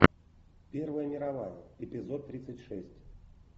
первая мировая эпизод тридцать шесть